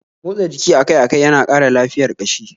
Motsa jiki akai-akai yana kara lafiyar kashi